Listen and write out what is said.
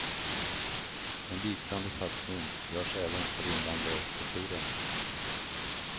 En liknande satsning görs även för invandrarkulturen.